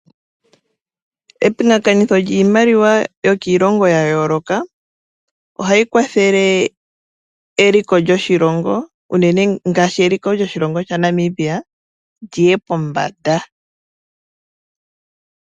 Epingakanitho lyiimaliwa yokiilongo yayooloka ohali kwathele eliko lyoshilongo unene ngaashi eliko lyoshilongo shaNamibia liye pombanda.